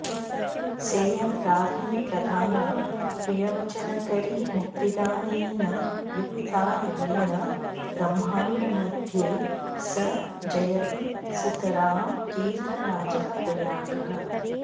सेयं राज्ञी प्रधाना प्रियवचनकरी मुक्तिदानेन युक्ता येन ब्रह्माण्डमध्ये स जयति सुतरां तीर्थराजः प्रयागः